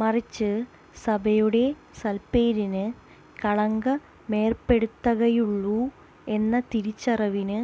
മറിച്ച് സഭയുടെ സൽപേരിന് കളങ്കമേർപ്പെടുത്തകയുള്ളൂ എന്ന തിരിച്ചറിവിന്